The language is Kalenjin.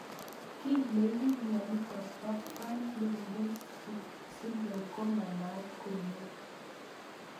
Kiy neipu mionitok po Fine Lubinsky syndrome ko manaat komie